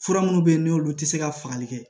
Fura minnu bɛ yen n'olu tɛ se ka fagali kɛ